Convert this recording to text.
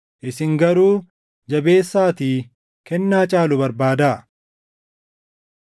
Hundumatu kennaa dhukkubsattoota fayyisuu qabaa? Hundumatu afaan haaraa dubbataa? Hundumatu afaan sana hiikaa?